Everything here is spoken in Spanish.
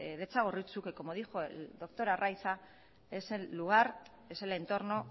de txagorritxu que como dijo el doctor arraiza es el lugar es el entorno